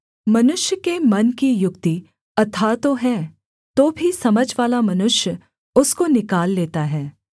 मनुष्य के मन की युक्ति अथाह तो है तो भी समझवाला मनुष्य उसको निकाल लेता है